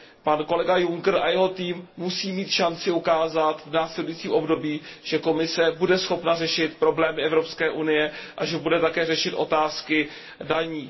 Pan kolega Juncker a jeho tým musí mít šanci ukázat v následujícím období, že Komise bude schopna řešit problémy Evropské unie a že bude také řešit otázky daní.